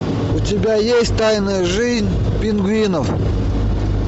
у тебя есть тайная жизнь пингвинов